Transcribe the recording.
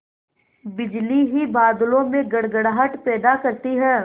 बिजली ही बादलों में गड़गड़ाहट पैदा करती है